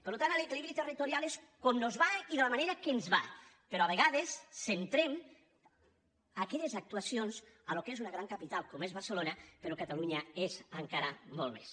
per tant l’equilibri territorial és com nos va i de la manera que ens va però a vegades centrem aquelles actuacions al que és una gran capital com és barcelona però catalunya ho és encara molt més